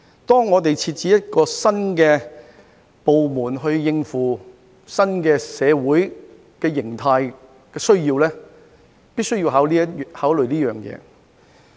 當我們設置一個新的部門應付新社會形態的需要時，必須作此考慮。